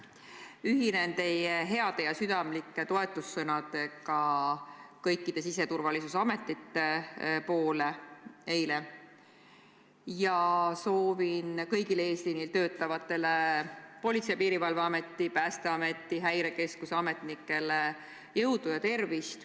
Ühinen teie eilsete heade ja südamlike toetussõnadega kõikidele siseturvalisuse ametitele ja soovin kõigile eesliinil töötavatele Politsei- ja Piirivalveameti, Päästeameti ning Häirekeskuse ametnikele jõudu ja tervist.